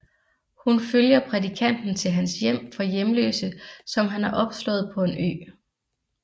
Hun følger prædikanten til hans hjem for hjemløse som han har opslået på en ø